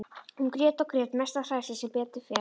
Hún grét og grét, mest af hræðslu, sem betur fer.